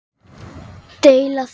Deila þessu